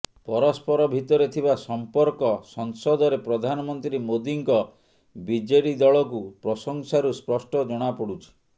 ପରସ୍ପର ଭିତରେ ଥିବା ସମ୍ପର୍କ ସଂସଦରେ ପ୍ରଧାନମନ୍ତ୍ରୀ ମୋଦୀଙ୍କ ବିଜେଡି ଦଳକୁ ପ୍ରଶଂସାରୁ ସ୍ପଷ୍ଟ ଜଣାପଡୁଛି